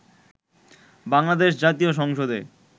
বাংলাদেশ জাতীয় সংসদে